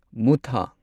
ꯃꯨꯊꯥ